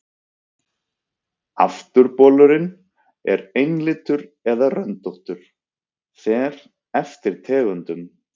Afturbolurinn er einlitur eða röndóttur, fer eftir tegundum.